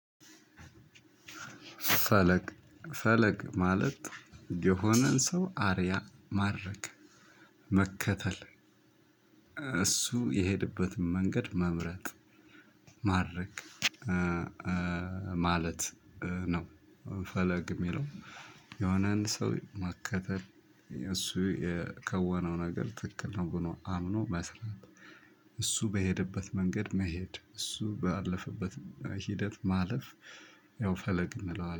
ፈለግ ፈለግ ማለት የሆነን ሰው አርያ ማረግ መከተል እሱ የሄደበትን መንገድ መምረጥ ማድረግ ማለት ነው። ፈለግ የሚለው የሆነን ሰው መከተል እሱ የከወነው ነገር ትክክል ነው ብሎ አምኖ መስራት። እሱ በሄደበት መንገድ መሄድ እሱ ባለፈበት ሂደት ማለፍ ያው ፈለግ እንለዋለን